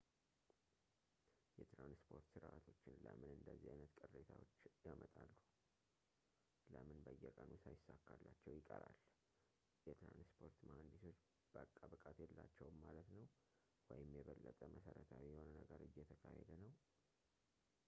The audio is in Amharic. የትራንስፖርት ስርዓቶች ለምን እንደዚህ አይነት ቅሬታዎች ያመጣሉ ፣ ለምን በየቀኑ ሳይሳካላቸው ይቀራል? የትራንስፖርት መሐንዲሶች በቃ ብቃት የላቸውም ማለት ነው? ወይም የበለጠ መሠረታዊ የሆነ ነገር እየተካሄደ ነው?